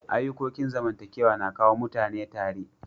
Ayukokin zamantakewa na kawo mutane tare.